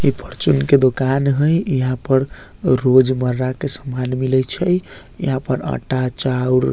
इ फॉर्च्यून के दुकान हेय यहाँ पर रोजमर्रा के सामान मिलय छै यहाँ पर आटा चाउर --